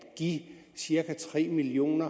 give cirka tre million